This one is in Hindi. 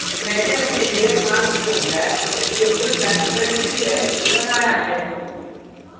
मैंने अपने layer mask को black जो full transparency है बनाया है